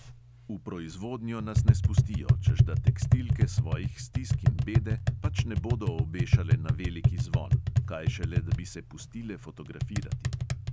V proizvodnjo nas ne spustijo, češ da tekstilke svojih stisk in bede pač ne bodo obešale na veliki zvon, kaj šele, da bi se pustile fotografirati.